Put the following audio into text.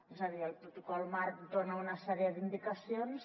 és a dir el protocol marc dona una sèrie d’indicacions